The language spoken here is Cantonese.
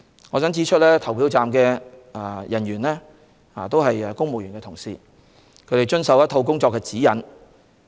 我想指出，投票站人員均是公務員同事，他們須遵守一套工作指引。